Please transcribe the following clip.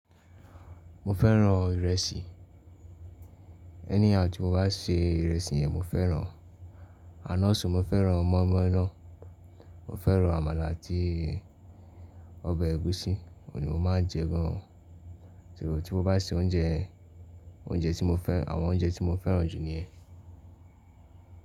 Mo fẹ́ràn ìrẹsì. Ẹníhau tí mo bá se ìrẹsì yẹn mo fẹ́ràn. Àná sùn mo fẹ́ràn mọ́ínmọ́ín náà. Mo fẹ́ràn àmàlà àti ọbẹ̀ ẹ̀gúsí, ọ̀ní mo má ń jẹ gan an. Tí mo bá se oúnjẹ, àwọn oúnjẹ tí mo fẹ́ràn jù nìyẹn.